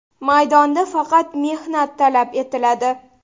Maydonda faqat mehnat talab etiladi.